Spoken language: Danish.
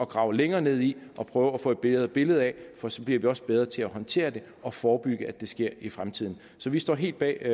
grave længere ned i og prøve at få et bedre billede af for så bliver vi også bedre til at håndtere det og forebygge at det sker i fremtiden så vi står helt bag